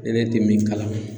Ne bɛ te min kalama